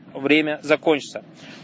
время закончится